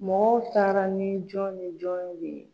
Mɔgɔw taara ni jɔn ni jɔn ye.